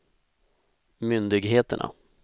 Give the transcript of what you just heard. myndigheterna